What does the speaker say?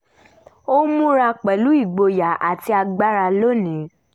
ó múra pẹ̀lú igboyà àti agbára lónìí